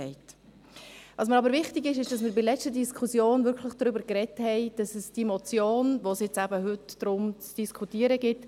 Was mir aber wichtig ist, ist, dass wir bei der letzten Diskussion wirklich darüber gesprochen haben, dass es die Motion, die es heute zu diskutieren gilt …